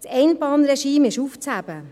Das Einbahnregime ist aufzuheben.